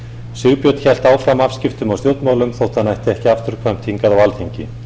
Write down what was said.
sigbjörn hélt áfram afskiptum af stjórnmálum þótt hann ætti ekki afturkvæmt hingað á alþingi